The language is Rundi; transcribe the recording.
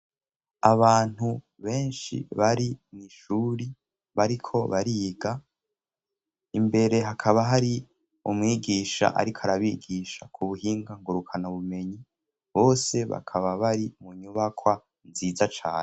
abantu benshi bari mwishuri bariko bariga imbere hakaba hari umwigisha ariko arabigisha ku buhinga ngurukana ubumenyi bose bakaba bari mu nyubakwa nziza cae